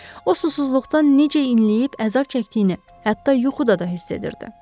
O susuzluqdan necə inləyib əzab çəkdiyini, hətta yuxuda da hiss edirdi.